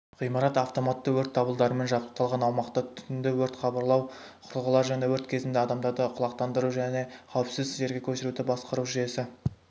ғимарат автоматты өрт дабылдарымен жабдықталған аумақта түтінді өрт хабарлау құрылғылары және өрт кезінде адамдарды құлақтандыру және қауіпсіз жерге көшіруді басқару жүйесі